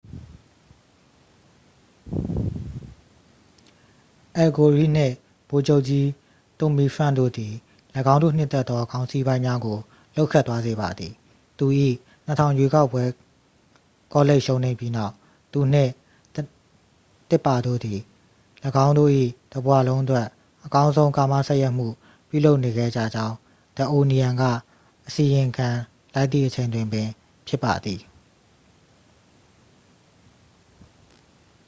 အယ်လ် ဂိုရိနှင့် ဗိုလ်ချုပ်ကြီး တွမ်မီဖရန့်ခ် တို့သည် ၎င်းတို့နှစ်သက်သောခေါင်းစီးပိုင်းများကို လှုပ်ခတ်သွားစေပါသည် သူ၏ ၂၀၀၀ ရွေးကောက်ပွဲကောလိပ်ရှုံးနိမ့်ပြီးနောက် သူနှင့် တစ်ပါတို့သည် ၎င်းတို့၏တစ်ဘဝလုံးအတွက် အကောင်းဆုံးကာမစပ်ယှက်မှု ပြုလုပ်နေခဲ့ကြကြောင်း the onion က အစီရင်ခံလိုက်သည့်အချိန်တွင်ပင်ဖြစ်ပါသည်။